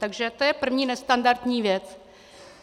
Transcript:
Takže to je první nestandardní věc.